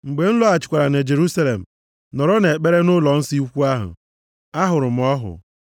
“Mgbe m lọghachikwara na Jerusalem, nọrọ na-ekpe ekpere nʼụlọnsọ ukwu ahụ, ahụrụ m ọhụ,